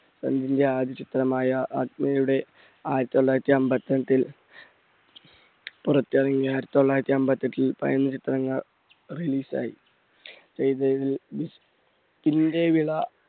തന്റെ ആദ്യ ചിത്രമായ ആയിരത്തി തൊള്ളായിരത്തി അമ്പത്തെട്ടിൽ പുറത്തിറങ്ങി. ആയിരത്തി തൊള്ളായിരത്തി അമ്പത്തെട്ടിൽ release ആയി